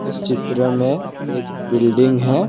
इस चित्र में एक बिल्डिंग है।